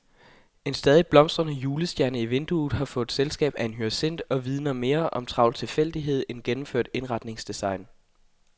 En stadig blomstrende julestjerne i vinduet har fået selskab af en hyacint og vidner mere om travl tilfældighed end gennemført indretningsdesign.